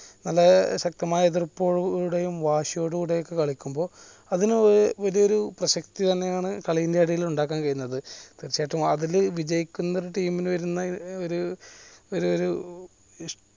നല്ല ശക്തമായ എതിർപ്പ് വാശിയോടെ കൂടെ കളിക്കുമ്പോ അതിന് വലിയൊരു പ്രസക്തി തന്നെയാണ് കളിയുടെ ഇടയിൽ ഇണ്ടാക്കാൻ കഴിയുന്നത് തീർച്ചയായിട്ടും അതിൽ വിജയിക്കുന്ന ഒരു team ന് വരുന്നൊരു ഒരു ഒരു